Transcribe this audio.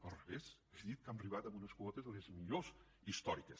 al revés he dit que hem arribat a unes quotes de les millors històriques